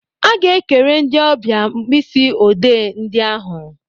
A ga-ekere ndị ọbịa mkpịsị odee ndị ahụ.